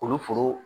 Kuru foro